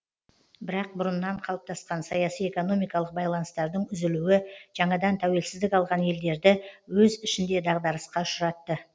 бірақ бұрыннан қалыптасқан саяси экономикалық байланыстардың үзілуі жаңадан тәуелсіздік алған елдерді өз ішінде дағдарысқа ұшыратты